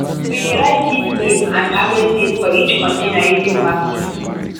we dey write seed name and harvest date for each container using masking tape.